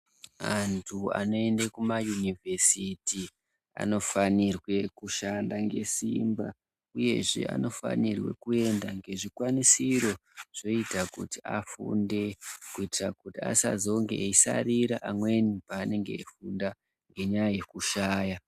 Antu anoende kumayunivhesiti anofanirwe kushanda ngesimba Uyezve, anofanirwe kuenda ngezvikwanisiro zvoita kuti afunde kuitira kuti asazonge eyisarira amweni paanenge eyifunda ngenyaya yekushaya.